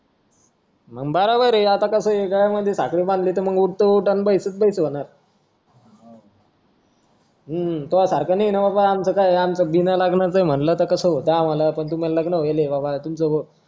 मग बरोबर आता कसं गाळ्यामधी साखळी बांधली तर उठ तर ऊठ आणि बैस तर बैस च होणार हम्म तो सारखा नाही आमचं काय आमचं बिना लग्नाचं म्हंटल तर कस होत आम्हाला पण तुम्हाला लग्न होईल ये बबा